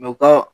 Mɛ u ka